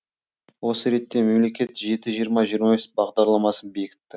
осы ретте мемлекет жеті жиырма жиырма бес бағдарламасын бекітті